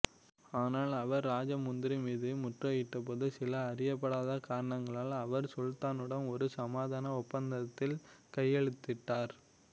ஆனால் அவர் ராஜமுந்திரி மீது முற்றுகையிட்டபோது சில அறியப்படாத காரணங்களால் அவர் சுல்தானுடன் ஒரு சமாதான ஒப்பந்தத்தில் கையெழுத்திட்டார்